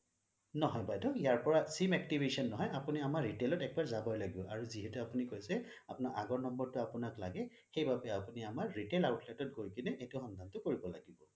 নহয় বাইদেউ ইয়াৰ পৰা sim activation নহয় আপুনি আমাৰ retail ত এবাৰ যাবই লাগিব আৰু আপুনি যিহেটো এবাৰ কৈছে আপোনাৰ আগৰ number টো আপোনাক লাগে সেইবাবেই আপুনি আমাৰ retail outlet ত গৈ কেনে সেইটো সম্ভৱ টো কৰিব লাগে